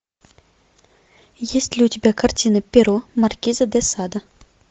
есть ли у тебя картина перо маркиза де сада